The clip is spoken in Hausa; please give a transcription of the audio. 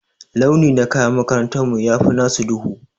Launi na kayan makarantar mu ya fi nasu duhu.